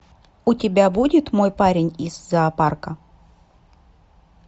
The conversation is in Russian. у тебя будет мой парень из зоопарка